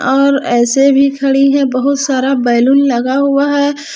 और ऐसे भी खड़ी हैं बहुत सारा बैलून लगा हुआ है।